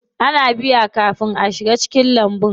Ana biya kafin a shiga cikin lambun.